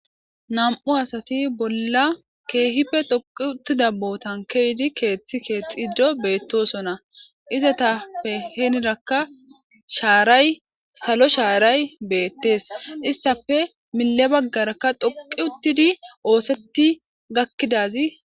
nam7u asati bolla keehipfe doqi uttida botan keydi keeththi keethxiddo beettosona izatappe heenirakka shaaray salo shaaray beettees istafe mille baggarakka dhoqi uttidi oosetti gakkidazi